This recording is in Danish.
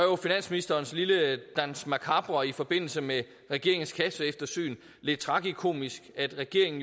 finansministerens lille danse macabre i forbindelse med regeringens kasseeftersyn lidt tragikomisk at regeringen